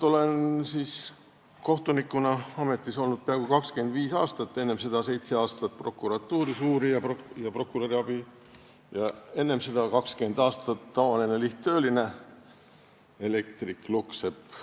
Olen kohtunikuna ametis olnud peaaegu 25 aastat, enne seda olin seitse aastat prokuratuuris uurija ja prokuröri abi ning enne seda 20 aastat lihttööline, elektrik-lukksepp.